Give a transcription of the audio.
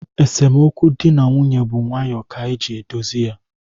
Esemokwu di na nwunye bu nwayoo ka e ji edozi ya